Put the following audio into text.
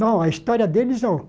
Não, a história deles não.